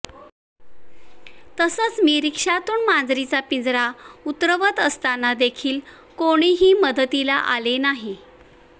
तसंच मी रिक्षातून मांजरींचा पिंजरा उतरवत असताना देखील कोणीही मदतीला आले नाही